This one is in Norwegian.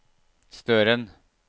Støren